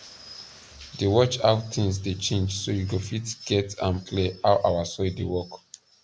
dey watch how things dey change so you go fit get am clear how our soil dey work